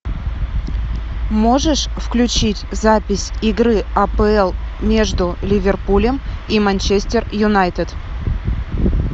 можешь включить запись игры апл между ливерпулем и манчестер юнайтед